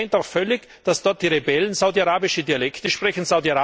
Man verkennt auch völlig, dass dort die Rebellen saudi arabische Dialekte sprechen.